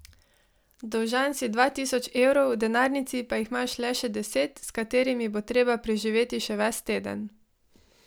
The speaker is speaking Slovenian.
Dolžan si dva tisoč evrov, v denarnici pa jih imaš le še deset, s katerimi bo treba preživeti še ves teden.